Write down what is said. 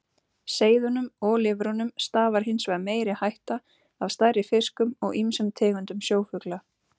Seiðunum og lirfunum stafar hins vegar meiri hætta af stærri fiskum og ýmsum tegundum sjófugla.